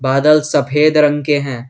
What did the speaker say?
बादल सफेद रंग के हैं।